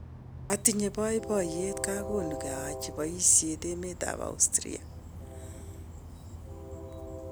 Atinye baibaiyet kakonukee aache baisit emet ab Austria.